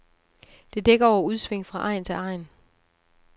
Det dækker over udsving fra egn til egn.